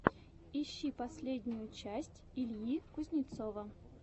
ищи последнюю часть ильи кузнецова